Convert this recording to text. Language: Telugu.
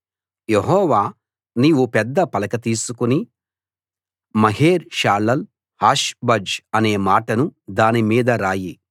యెహోవా నీవు పెద్ద పలక తీసుకుని మహేర్ షాలాల్‌ హాష్‌ బజ్‌ అనే మాటలు దాని మీద రాయి